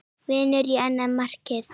Vindur á annað markið.